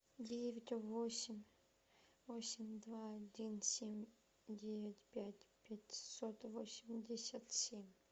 девять восемь восемь два один семь девять пять пятьсот восемьдесят семь